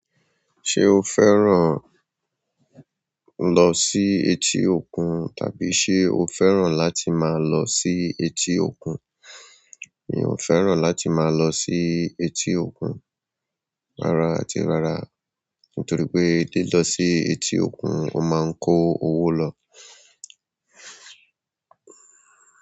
Ṣé o fẹ́ran lo sí etí òkun? Tàbí ṣe o fẹ́ràn láti máa lọ sí etí òkun? Mi ò fẹ́ràn láti máa lọ sí etí òkun rara àti rara, nítorí pé, lọ sí etí òkun, o máa ń kó owó lọ.